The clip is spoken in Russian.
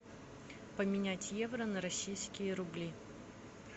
поменять евро на российские рубли